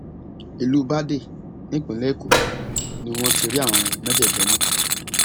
ìlú badáy nípínlẹ èkó ni wọn ti rí àwọn mẹjẹẹjọ mú